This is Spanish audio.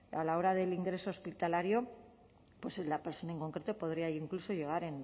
a la hora del ingreso hospitalario la persona en concreto podría incluso llegar